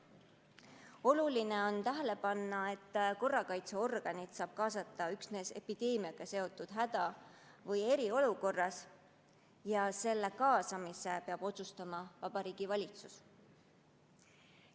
Oluline on tähele panna, et korrakaitseorganid saab kaasata üksnes epideemiaga seotud häda- või eriolukorras ja nende kaasamise peab otsustama Vabariigi Valitsus.